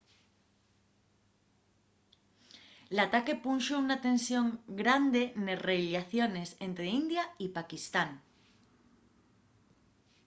l’ataque punxo una tensión grande nes rellaciones ente india y paquistán